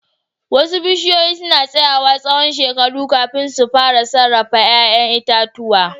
Wasu bishiyoyi suna tsayawa tsawon shekaru kafin su fara sarrafa 'ya'yan itatuwa.